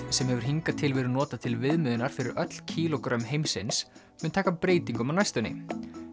sem hefur hingað til verið notað til viðmiðunar fyrir öll kílógrömm heimsins mun taka breytingum á næstunni